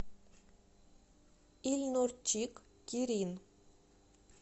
ильнурчик кирин